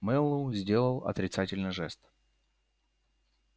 мэллоу сделал отрицательный жест